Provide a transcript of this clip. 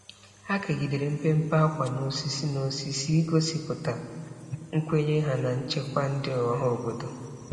Ha kegidere mpempe ákwà n'osisi, n'osisi, igosipụta nkwenye ha na nchekwa ndị ọhaobodo.